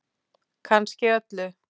Kannski öllu.